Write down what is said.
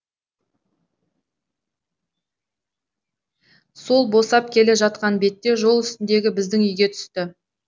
сол босап келе жатқан бетте жол үстіндегі біздің үйге түсті